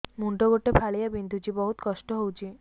ମୁଣ୍ଡ ଗୋଟେ ଫାଳିଆ ବିନ୍ଧୁଚି ବହୁତ କଷ୍ଟ ହଉଚି